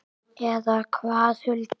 Eða hvað, Hulda?